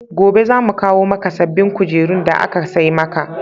Gobe za mu kawo maka sabbbin kujerun da aka sai maka.